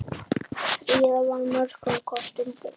Fríða var mörgum kostum búin.